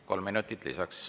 Kolm minutit lisaks.